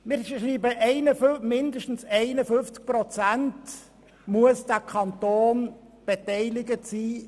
Wir schreiben, der Kanton müsse mit mindestens 51 Prozent an der BKW beteiligt sein.